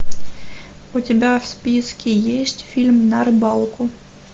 у тебя в списке есть фильм на рыбалку